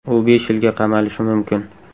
U besh yilga qamalishi mumkin .